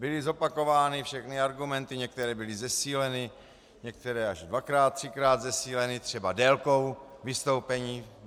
Byly zopakovány všechny argumenty, některé byly zesíleny, některé až dvakrát třikrát zesíleny třeba délkou vystoupení.